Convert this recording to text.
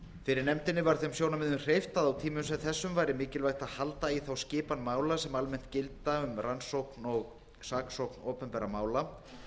fyrir nefndinni var þeim sjónarmiðum hreyft að á tímum sem þessum væri mikilvægt að halda í þá skipan mála sem almennt gilda um rannsókn og saksókn opinberra mála